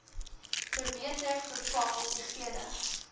verbeter veral diegene